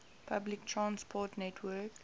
public transport network